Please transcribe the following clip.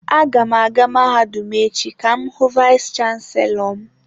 Aga m aga mahadum echi ka m hu vayis chansilọ m.